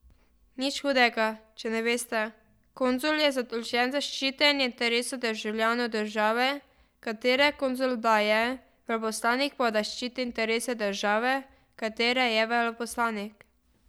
Nič hudega, če ne veste, konzul je zadolžen za ščitenje interesov državljanov države, katere konzul da je, veleposlanik pa da ščiti interese države, katere je veleposlanik.